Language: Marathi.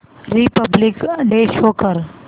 रिपब्लिक डे शो कर